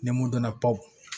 Ni mun donna baw